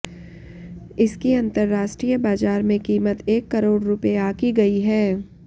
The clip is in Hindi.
इसकी अतंर्राष्ट्रीय बाजार में कीमत एक करोड़ रुपये आकी गई है